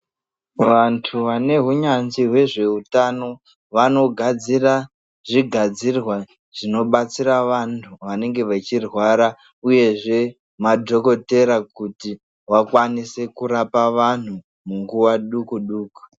Vantu vane hunyanzvi hwezve utano vano gadzira zvi gadzirwa zvino batsira vantu vanenge vechi rwara uyezve madhokotera kuti vakwanise kurapa vanhu munguva duku duku.